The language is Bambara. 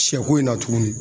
Siyɛko in na tuguni.